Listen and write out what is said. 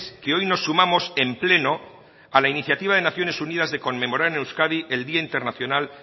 que hoy nos sumamos en pleno a la iniciativa de naciones unidas de conmemorar en euskadi el día internacional